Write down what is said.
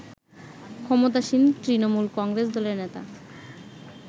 ক্ষমতাসীন তৃণমূল কংগ্রেস দলের নেতা